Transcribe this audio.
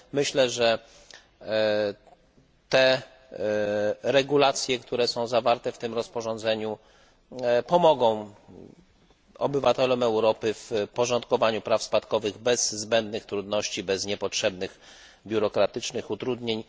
Myślę, że te regulacje, które są zawarte w tym rozporządzeniu, pomogą obywatelom Europy w porządkowaniu praw spadkowych bez zbędnych formalności, bez niepotrzebnych biurokratycznych utrudnień.